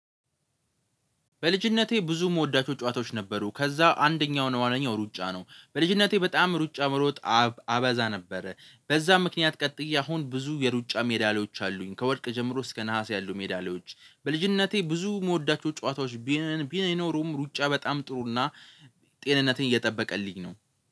በልጅነቴ ብዙ እመወዳቸው ጨዋታዎች ነበሩ ከዛ አንደኛው ነው አንደኛው ሩጫ ነው በልጅነቴ በጣም ሩጫ መሮጥ አበዛ ነበረ። በዛ ምክንያት ቀጥዬ አሁን ብዙ የሩጫ ሜዳሊያዎች አሉኝ። ከወርቅ ጀምሮ እስከ ነሀስ ያሉ ሜዳሊያዎች በልጅነቴ ብዙ እመወዳቸው ጨዋታዎች ቢኖሩም ሩጫ በጣም ጥሩና ጤንነትን እየጠበቀልኝ ነው